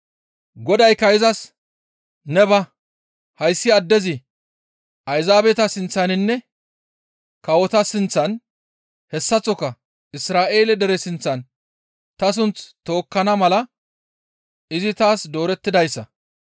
Godaykka izas, «Ne ba! Hayssi addezi Ayzaabeta sinththaninne kawota sinththan hessaththoka Isra7eele dere sinththan ta sunth tookkana mala izi taas doorettidayssa.